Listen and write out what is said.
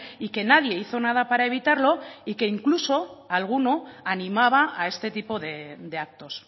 y que nadie hizo nada para evitarlo y que incluso alguno animaba a este tipo de actos